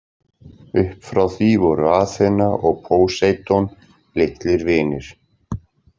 Upp frá því voru Aþena og Póseidon litlir vinir.